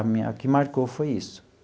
A minha o que marcou foi isso.